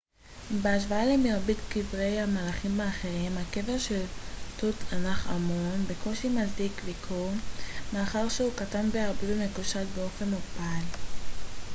בהשוואה למרבית קברי המלכים האחרים הקבר של תות ענח' אמון בקושי מצדיק ביקור מאחר שהוא קטן בהרבה ומקושט באופן מוגבל